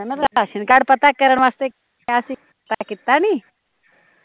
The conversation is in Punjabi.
ਮੈਂ ਰਾਸ਼ਨ ਕਾਰਡ ਪਤਾ ਕਰਨ ਵਾਸਤੇ ਕਿਹਾ ਸੀ, ਤੈ ਕੀਤਾ ਨੀ?